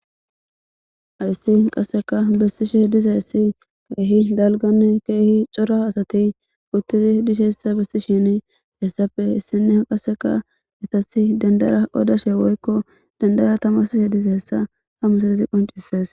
ayssi qasseka bessishe dizassi keehi dalgani keehi cora asati uttizi dishessa bessi shin hessappe issine qasseka etasi dendara odashe woykko dandara tamasishe diza hessa hamuseizi qoncisees